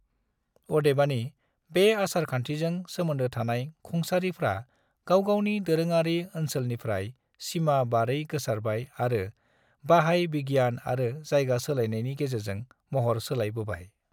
अदेबानि, बे आसार खानथिजों सोमोनदो थानाय खुंसारिफ्रा गावगावनि दोरोङारि ओनसोलनिफ्राइ सिमा बारै गोसारबाय आरो बाहाय बिगियान आरो जायगा सोलायनायनि गेजेरजों महर सोलाय बोबाय।